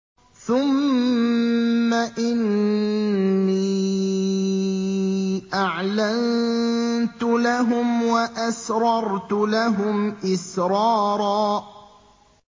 ثُمَّ إِنِّي أَعْلَنتُ لَهُمْ وَأَسْرَرْتُ لَهُمْ إِسْرَارًا